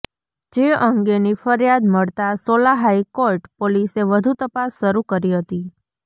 જે અંગેની ફરિયાદ મળતા સોલા હાઇકોર્ટ પોલીસે વધુ તપાસ શરૂ કરી હતી